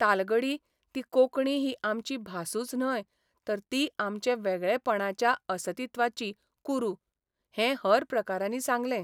तालगडी ती कोंकणी ही आमची भासूच न्हय तर ती आमचे वेगळेपणाच्या असतित्वाची कुरू हें हर प्रकारांनी सांगलें.